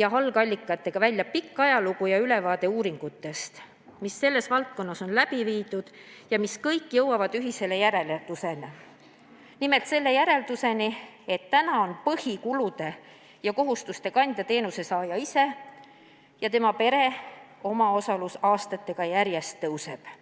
ja algallikatega välja pikk ajalugu ja ülevaade uuringutest, mis selles valdkonnas on läbi viidud ja mis kõik jõuavad ühisele järeldusele: nimelt sellele järeldusele, et praegu on põhikulude ja kohustuste kandja teenusesaaja ise ning tema pere omaosalus aastatega järjest kasvab.